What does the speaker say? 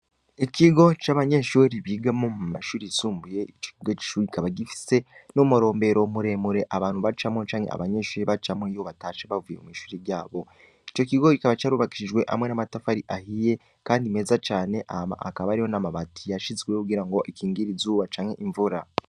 Ikigo c'abanyeshure bigiramwo mumashure y'isumbuye kibaba gifise numuromberero muremure abantu bacamwo canke abanyeshure bacamwo iyo bavuye mw'ishure ryabo iryoshure rikaba ryubakishije amatafari ahiye kandi mezacane n'amabati yashijweho kugira akingire izuba canke imvura